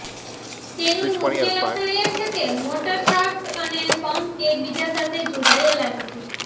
તેનું મુખ્ય લક્ષણ એ છે કે મોટર શાફ્ટ અને પંપ એકબીજા સાથે જોડાયેલા નથી